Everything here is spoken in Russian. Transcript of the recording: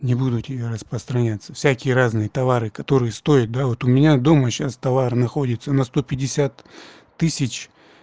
не буду тебя распространяться всякие разные товары которые стоят да вот у меня дома сейчас товар находится на сто пятьдесят тысяч